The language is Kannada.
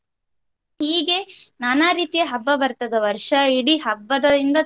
ಹೀಗೆ ನಾನಾ ರೀತಿಯ ಹಬ್ಬ ಬರ್ತದೆ ವರ್ಷ ಇಡೀ ಹಬ್ಬದಿಂದ.